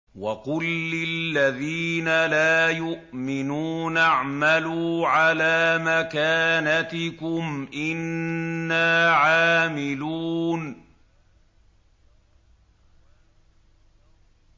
وَقُل لِّلَّذِينَ لَا يُؤْمِنُونَ اعْمَلُوا عَلَىٰ مَكَانَتِكُمْ إِنَّا عَامِلُونَ